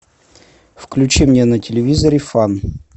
включи мне на телевизоре фан